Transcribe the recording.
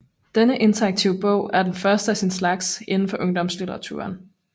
Denne interaktive bog er den første af sin slags inden for ungdomslitteraturen